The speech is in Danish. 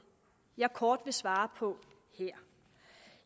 jeg kort vil svare på her